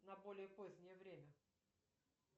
на более позднее время